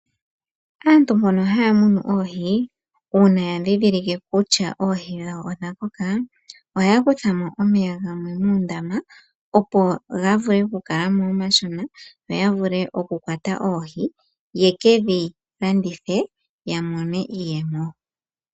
Aantu mbono haya munu oohi uuna ya ndhindhilike kutya oohi dhawo odha koka ohaya kutha mo omeya gamwe muundama, opo ga vule oku kala mo omashona, yo ya vule oku kwata oohi, ye kedhi landithe, ya mone iiyemo.